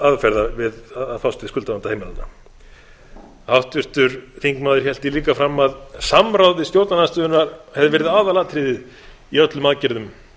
aðferða við að fást við skuldavanda heimilanna háttvirtur þingmaður hélt því líka fram að samráð við stjórnarandstöðuna hefði verið aðalatriðið í öllum aðgerðum